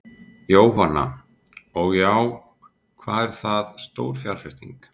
Jóhanna: Og já, hvað er það stór fjárfesting?